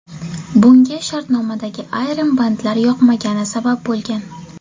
Bunga shartnomadagi ayrim bandlar yoqmagani sabab bo‘lgan.